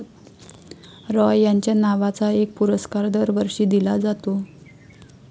रॉय यांच्या नावाचा एक पुरस्कार दरवर्षी दिला जातो.